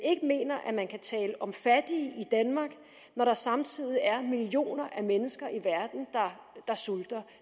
mener at man kan tale om fattige i danmark når der samtidig er millioner af mennesker i verden der sulter